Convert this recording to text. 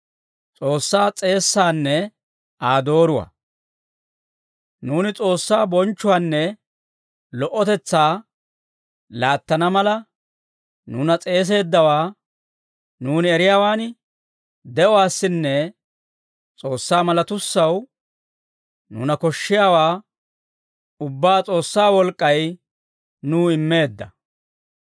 Nuuni S'oossaa bonchchuwaanne lo"otetsaa laattana mala, nuuna s'eeseeddawaa nuuni eriyaawan, de'uwaassinne S'oossaa malatussaw nuuna koshshiyaawaa ubbaa S'oossaa wolk'k'ay nuw immeedda.